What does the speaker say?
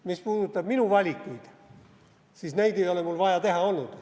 Mis puudutab minu valikuid, siis neid ei ole mul vaja teha olnud.